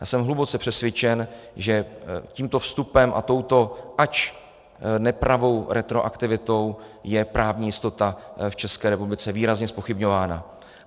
Já jsem hluboce přesvědčen, že tímto vstupem a touto, ač nepravou, retroaktivitou je právní jistota v České republice výrazně zpochybňována.